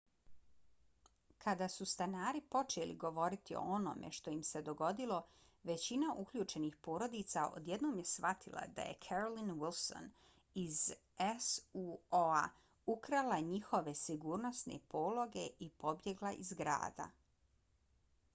kada su stanari počeli govoriti o onome što im se dogodilo većina uključenih porodica odjednom je shvatila da je carolyn wilson iz suo-a ukrala njihove sigurnosne pologe i pobjegla iz grada